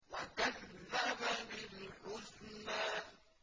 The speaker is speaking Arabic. وَكَذَّبَ بِالْحُسْنَىٰ